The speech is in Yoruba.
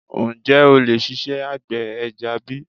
Ǹjẹ́ o lè ṣiṣẹ́ àgbẹ̀ ẹja bi?